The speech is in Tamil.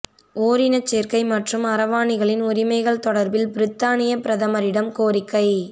ஓரின சேர்க்கை மற்றும் அரவாணிகளின் உரிமைகள் தொடர்பில் பிரித்தானிய பிரதமரிடம் கோரிக்கை